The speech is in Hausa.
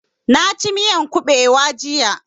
Na ci miyan ƙubewa jiya